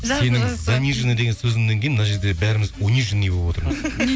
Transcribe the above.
сенің заниженный деген сөзіңнен кейін мына жерде бәріміз униженный болып отырмыз